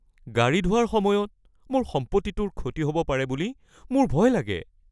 গাড়ী ধোৱাৰ সময়ত মোৰ সম্পত্তিটোৰ ক্ষতি হ’ব পাৰে বুলি মোৰ ভয় লাগে।